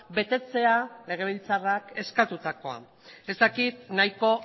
betetzea legebiltzarrak eskatutakoa ez dakit nahiko